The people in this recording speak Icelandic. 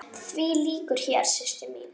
Því lýkur hér, systir mín.